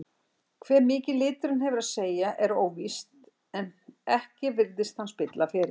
Hve mikið liturinn hefur að segja er óvíst en ekki virðist hann spilla fyrir.